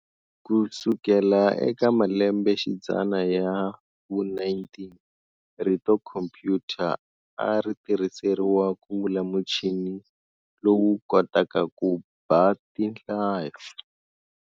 Kusukela eka malembe xidzana ya vu 19, rito khompuyuta a ritirhiseriwa kuvula muchini lowu kotaka ku bha tinhlayo.